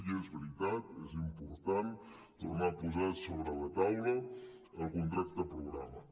i és veritat és impor·tant tornar a posar sobre la taula el contracte programa